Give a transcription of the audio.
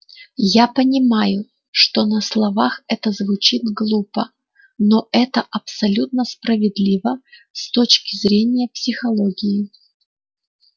я понимаю что на словах это звучит глупо но это абсолютно справедливо с точки зрения психологии